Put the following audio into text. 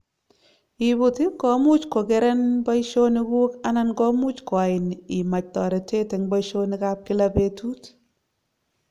Ibut ,komuch kokeren in boishonik kuk anan komuch kuain imach toret eng boisonik ab kila betut.